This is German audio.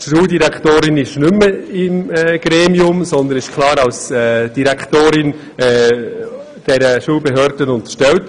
Die Schuldirektorin ist nicht mehr Mitglied dieses Gremiums, sondern als Direktorin klar dieser Behörde unterstellt.